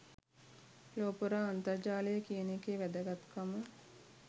ලොව පුරා අන්තර්ජාලය කියන එකේ වැදගත් කම